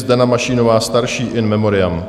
Zdena Mašínová starší, in memoriam.